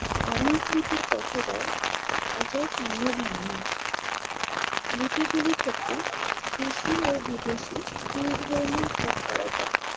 অনেক লিপির পঠোদ্ধার আজও সম্ভব হয় নি। লিপিগুলি থেকে দেশি ও বিদেশি দুই ধরণের ভাগ করা যায়।